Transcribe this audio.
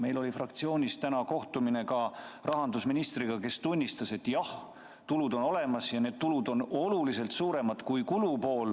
Meil oli täna fraktsioonis kohtumine rahandusministriga, kes tunnistas, et jah, tulud on olemas ja need on oluliselt suuremad kui kulud.